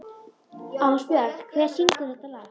Ásbjörn, hver syngur þetta lag?